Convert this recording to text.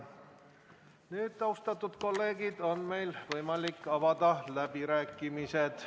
Nüüd, austatud kolleegid, on meil võimalik avada läbirääkimised.